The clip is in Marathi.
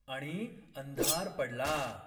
आणि अंधार पडला